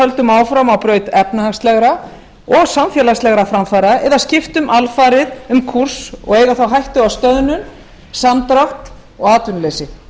höldum áfram á braut efnahagslegra og samfélagslegra framfara eða skiptum alfarið um kúrs og eigum það á hættu að stöðnun samdrátt og atvinnuleysi